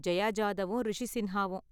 ஜெயா ஜாதவும், ரிஷி சின்ஹாவும்